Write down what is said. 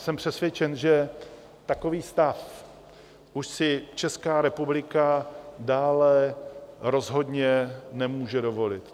Jsem přesvědčen, že takový stav už si Česká republika dále rozhodně nemůže dovolit.